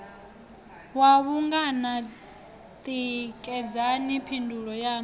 wa vhungana tikedzani phindulo yaṋu